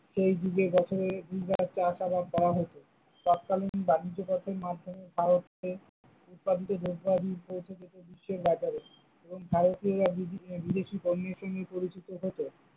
সেই যুগে বছরে দুইবার চাষাআবাদ করা হতো, তৎকালীন বাণিজ্য পথের মাধ্যমে ভারতে উৎপাদিত দ্রব্যাদি পৌঁছে যেত বিশ্বের বাজারে এবং ভারতীয়রা বিভিন্ন বিদেশী পণ্যের সঙ্গে পরিচিত হতো।